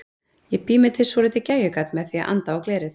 Ég bý mér til svolítið gægjugat með því að anda á glerið.